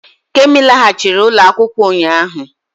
Kemi laghachiri ụlọ akwụkwọ ụnyaahụ